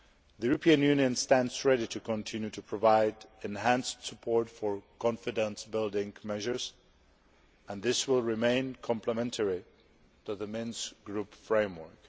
The European Union stands ready to continue to provide enhanced support for confidence building measures and this will remain complementary to the Minsk Group framework.